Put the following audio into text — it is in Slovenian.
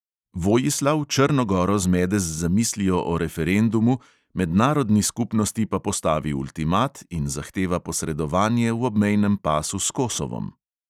Vojislav črno goro zmede z zamislijo o referendumu, mednarodni skupnosti pa postavi ultimat in zahteva posredovanje v obmejnem pasu s kosovom.